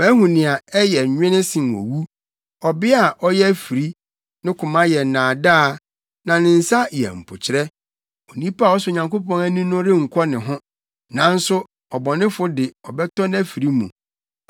Mahu nea ɛyɛ nwene sen owu; ɔbea a ɔyɛ afiri; ne koma yɛ nnaadaa na ne nsa yɛ mpokyerɛ. Onipa a ɔsɔ Onyankopɔn ani no renkɔ ne ho nanso ɔbɔnefo de ɔbɛtɔ nʼafiri mu.